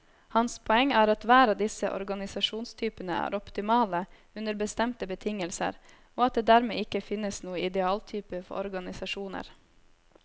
Hans poeng er at hver av disse organisasjonstypene er optimale under bestemte betingelser, og at det dermed ikke finnes noen idealtype for organisasjoner.